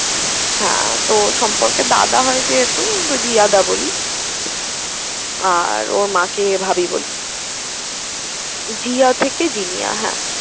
হ্যাঁ তো সম্পর্কে দাদা হয় যেহেতু, আমি দাদা বলি, আর ওর মাকে ভাবি বলি। জিয়া থেকে জিনিয়া হ্যাঁ।